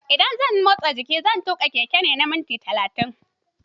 In zan motsa jiki, zan tuƙa keke na minti talatin.